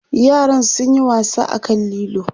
yaran sun Yi wasa a kan lilo